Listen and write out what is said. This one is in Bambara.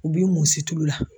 U b'i mun situlu la.